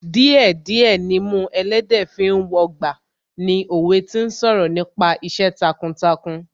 Díẹ̀ díẹ̀ nimú ẹlẹ́dẹ̀ẹ́ fi ń wọgbà ni òwe tí ń sọ̀rọ̀ nípa iṣẹ́ takuntakun